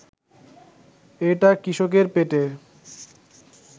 এটা কৃষকের পেটে